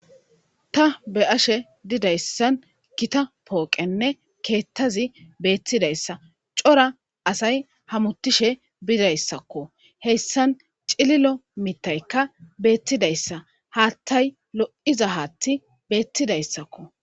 Ta beyashshe didayissn gitta poqenne ketazi betizayssa cora asay hametishshe bizayisakko hesan cililo mithayikka betizayissa hatay lo"iza hati betizayissakko